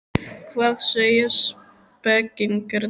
Hvað segja spekingarnir?